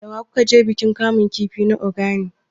Da wa ku ka je bikin kamun kifi na Ogani?